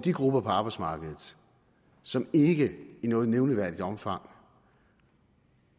de grupper på arbejdsmarkedet som ikke i noget nævneværdigt omfang